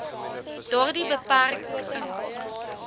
daardie beperk ings